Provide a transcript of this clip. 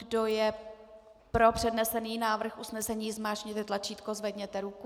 Kdo je pro přednesený návrh usnesení, zmáčkněte tlačítko, zvedněte ruku.